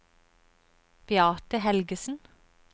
Beate Helgesen